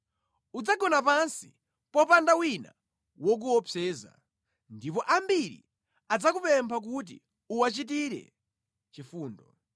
Udzagona pansi, popanda wina wokuopseza ndipo ambiri adzakupempha kuti uwachitire chifundo.